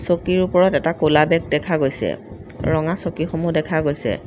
চকীৰ ওপৰত এটা ক'লা বেগ দেখা গৈছে ৰঙা চকীসমূহ দেখা গৈছে।